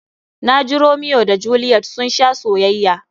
Na ji Romiyo da Jeliyet sun sha soyayya.